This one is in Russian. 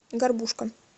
горбушка